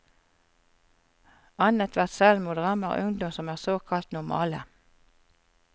Annethvert selvmord rammer ungdom som er såkalt normale.